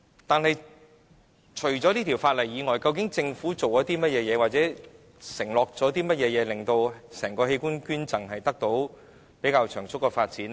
但是，除本《條例草案》外，究竟政府做過或承諾過甚麼，可令整體器官捐贈可獲較長足的發展呢？